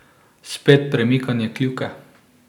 Spet premikanje kljuke.